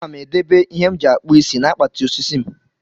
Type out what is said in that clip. Ana m edobe ihe m ji akpụ isi na akpati osisi m.